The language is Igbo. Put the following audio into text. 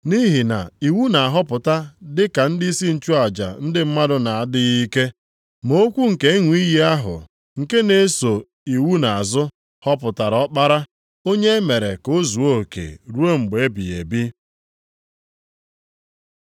Nʼihi na iwu na-ahọpụta dị ka ndịisi nchụaja ndị mmadụ na-adịghị ike. Ma okwu nke ịṅụ iyi ahụ, nke na-eso iwu nʼazụ, họpụtara Ọkpara, onye e mere ka o zuo oke ruo mgbe ebighị ebi.